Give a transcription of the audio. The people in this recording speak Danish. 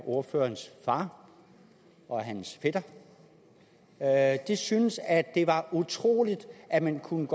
ordførerens far og dennes fætter at de syntes at det var utroligt at man kunne